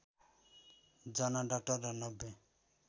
जना डाक्टर र ९०